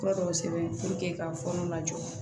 Fura dɔw sɛbɛn ka fɔnɔ lajɔ